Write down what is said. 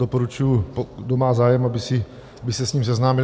Doporučuji, kdo má zájem, aby se s ním seznámil.